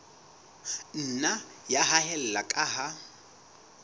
nna ya haella ka ha